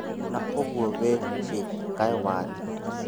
Na ũguo wĩhumbĩte kaĩ wathiĩ kũ?